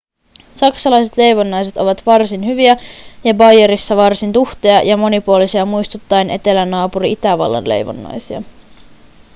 saksalaiset leivonnaiset ovat varsin hyviä ja baijerissa varsin tuhteja ja monipuolisia muistuttaen etelänaapuri itävallan leivonnaisia